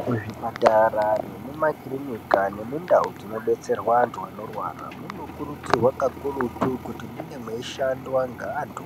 Kuzvipatara nekumakiriniki nekundau dzinodetserwa antu Anorwara munokurudzirwa kakurutu kuti munge meishandwa neantu